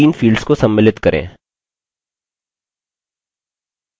निम्न 3 fields को सम्मिलित करें